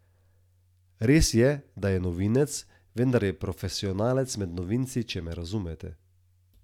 Res je, da je novinec, vendar je profesionalec med novinci, če me razumete.